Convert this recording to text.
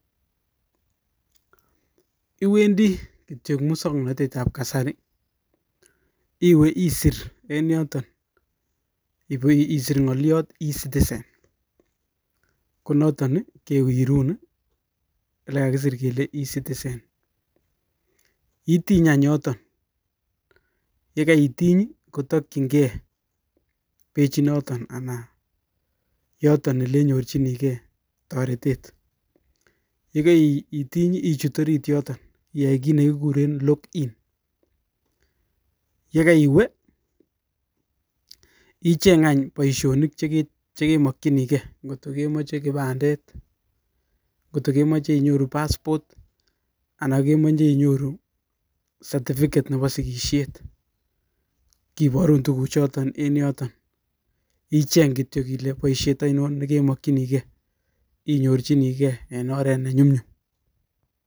Iwendii Eng musomnotet ap kasari KO notok kowirun nyotok kakisir(e citizen ) kokaitiny iwe orit nyotok olekakisoir(log in) atatya keparur tuguuk tugul chekemache keparun Eng oret nenyum nyum